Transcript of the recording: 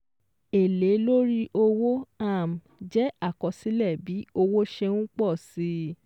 Èlé lórí owó um jẹ́ àkọsílẹ̀ bí owó ṣé n pọ̀si